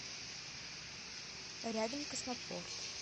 рядом космопорт